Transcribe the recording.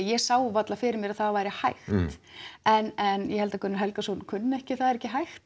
ég sá varla fyrir mér að það væri hægt en en ég held að Gunnar Helgason kunni ekki það er ekki hægt